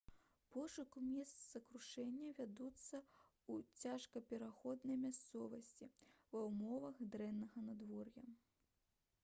пошукі месца крушэння вядуцца ў цяжкапраходнай мясцовасці ва ўмовах дрэннага надвор'я